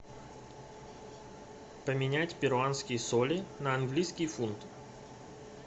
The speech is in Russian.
поменять перуанские соли на английский фунт